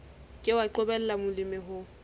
ke wa qobella molemi ho